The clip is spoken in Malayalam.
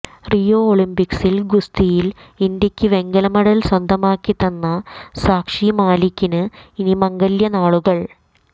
റിയോ ഒളിമ്പിക്സിൽ ഗുസ്തിയിൽ ഇന്ത്യക്ക് വെങ്കല മെഡൽ സ്വന്തമാക്കി തന്ന സാക്ഷി മാലികിന് ഇനി മംഗല്യ നാളുകൾ